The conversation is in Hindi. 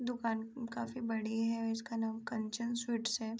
दुकान काफी बड़ी है। इसका नाम कंचन स्वीट्स है।